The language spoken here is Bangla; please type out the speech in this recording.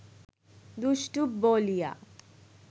দুষ্টু বলিয়া